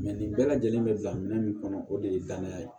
nin bɛɛ lajɛlen be bila minɛn min kɔnɔ o de ye danaya ye